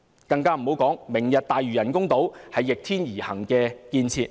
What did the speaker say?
再者，"明日大嶼"人工島是逆天而行的建設。